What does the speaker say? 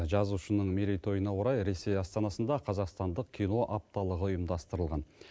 жазушының мерейтойына орай ресей астанасында қазақстандық кино апталығы ұйымдастырылған